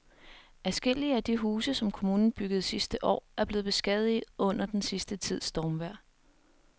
Adskillige af de huse, som kommunen byggede sidste år, er blevet beskadiget under den sidste tids stormvejr.